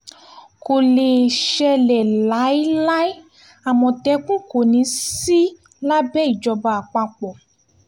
kò lè ṣẹlẹ̀ láéláé àmọ̀tẹ́kùn kò ní í sí lábẹ́ ìjọba àpapọ̀